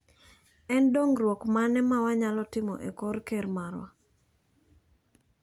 En dong'ruok mane mawa nyalo timo e kor ker marwa?